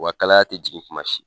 Wa kalaya ti jigin kuma si.